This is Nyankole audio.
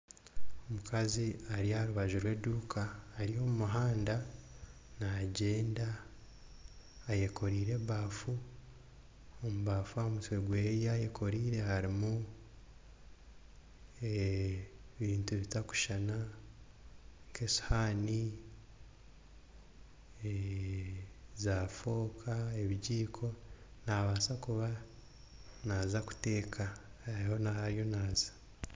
Omukazi ari aha rubaju rw'eduuka Ari omu muhanda nagyenda ayekorire ebafu ahamutwe gwe eyayekoreire harumu ebintu bitakushana nkesihani , za fooka n'ebijiko naabasa kuba naza kuteeka